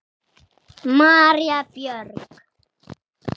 María Björg.